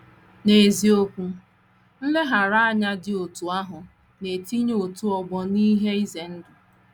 N’eziokwu, nleghara anya dị otú ahụ na - etinye otu ọgbọ n’ihe ize ndụ. ”